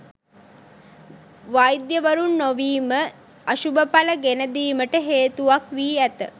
වෛද්‍යවරුන් නොවීම අශුභඵල ගෙන දීමට හේතුවක් වී ඇත.